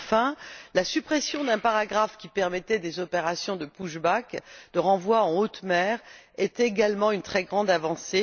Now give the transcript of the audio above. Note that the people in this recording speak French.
Enfin, la suppression d'un paragraphe qui permettait des opérations de push back de renvoi en haute mer, représente également une très grande avancée.